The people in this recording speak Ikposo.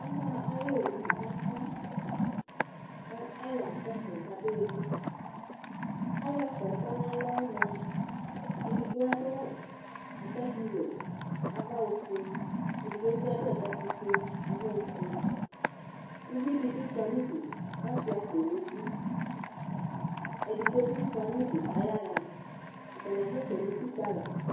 Ava ayʋ owʋ atɔ kʋ alʋ asɛsɛ kabe mʋ akʋ ɛfʋ yɛ tɔnʋ alɔ yɛ mʋa edigbo adʋ atakpiwɛ ava ofue kʋ edigboe bi adʋ atakpi fue ava ofue ʋvidi bi fʋa nʋ udu kʋ asuia akpo nʋ idʋ edignobi fua nʋ udʋ kʋ ayaxa atani asɛsɛ nʋ ʋtikpala